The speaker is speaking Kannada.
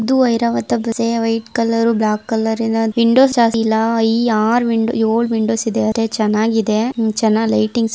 ಇದು ಐರಾವತ ಬಸ್‌ ಇದೆ ವೈಟ್ ಕಲರ್ ಬ್ಲಾಕ್ ಕಲರಿ ನ ವಿಂಡೋಸ್ ಈ ಆರ ಏಳ ವಿಂಡೋಸ್ ಇದೆ ಅದೆ ಚೆನ್ನಾಗಿದೆ ಚೆನ್ನಾಗಿ ಲೈಟಿಂಗ್ಸ --